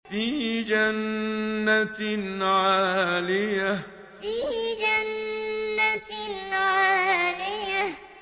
فِي جَنَّةٍ عَالِيَةٍ فِي جَنَّةٍ عَالِيَةٍ